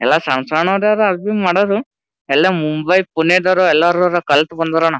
ಎಲ್ಲ ಸಣ್ಣ ಸಣ್ಣ ಹರ ಅಡಿಗೆ ಮದವ್ರು ಎಲ್ಲ ಮುಂಬೈ ಪುಣೆದವ್ರು ಹರ ಎಲ್ಲ ಕಲ್ತ್ ಬಂದವರು --